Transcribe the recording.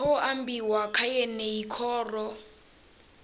khou ambiwa kha yeneyi khoro